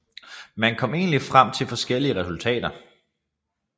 Man kom nemlig frem til forskellige resultater